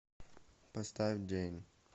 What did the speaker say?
поставь джэйн